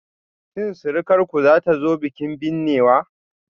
Shin surukarku zata zo bikin binnewa?